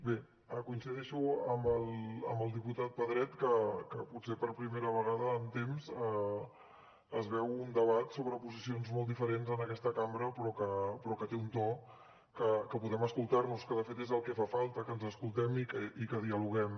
bé coincideixo amb el diputat pedret que potser per primera vegada en temps es veu un debat sobre posicions molt diferents en aquesta cambra però que té un to que podem escoltar nos que de fet és el que fa falta que ens escoltem i que dialoguem